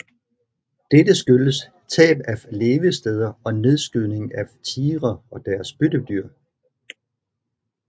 Dette skyldtes tab af levesteder og nedskydningen af tigre og deres byttedyr